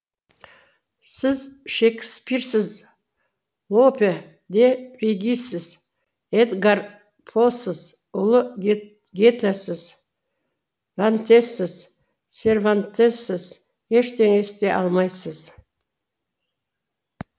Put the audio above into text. сіз шекспирсіз лопе де вегисіз эдгар посыз ұлы гетесіз дантессіз сервантессіз ештеңе істей алмайсыз